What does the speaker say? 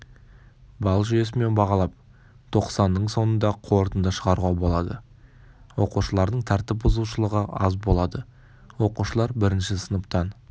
балл жүйесімен бағалап тоқсанның соңында қорытынды шығаруға болады оқушылардың тәртіп бұзушылығы аз болады оқушылар бірінші сыныптан